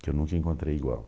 que eu nunca encontrei igual.